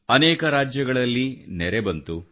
ಅನೇಕ ರಾಜ್ಯಗಳಲ್ಲಿ ನೆರೆ ಬಂತು